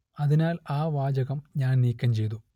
അതിനാൽ ആ വാചകം ഞാൻ നീക്കം ചെയ്തു